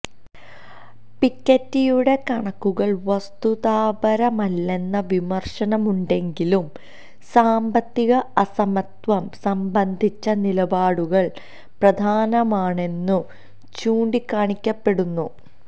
പിക്കെറ്റിയുടെ കണക്കുകള് വസ്തുതാപരമല്ലെന്ന വിമര്ശനമുണ്ടെങ്കിലും സാമ്പത്തിക അസമത്വം സംബന്ധിച്ച നിലപാടുകള് പ്രധാനമാണെന്നും ചൂണ്ടിക്കാണിക്കപ്പെടുന്നു